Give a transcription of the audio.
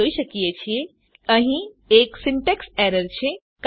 આપણે જોઈએ છીએ કે અહીં એક સિન્ટેક્સ એરર છે